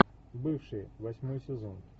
бывшие восьмой сезон